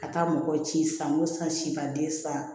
Ka taa mɔgɔ ci san ko san sibaden san